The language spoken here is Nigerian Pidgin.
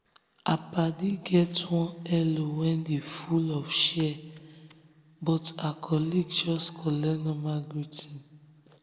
her paddy get one hello wey dey full of cheer of cheer um but her colleague just collect normal greeting.